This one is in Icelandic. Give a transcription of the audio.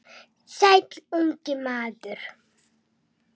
Sæll, ungi maður